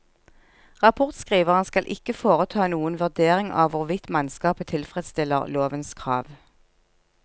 Rapportskriveren skal ikke foreta noen vurdering av hvorvidt mannskapet tilfredsstiller lovens krav.